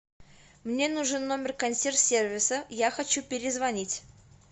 мне нужен номер консьерж сервиса я хочу перезвонить